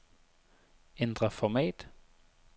Ændr format.